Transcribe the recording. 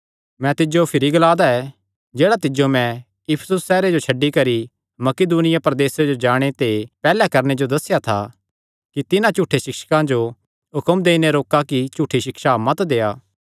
मैं तिज्जो भिरी ग्ला दा ऐ जेह्ड़ा तिज्जो नैं इफिसुस सैहरे जो छड्डी करी मकिदुनिया प्रदेसे जो जाणे ते पैहल्लैं करणे जो दस्सेया था कि तिन्हां झूठे सिक्षकां जो हुक्म देई नैं रोका कि झूठी सिक्षा मत देआ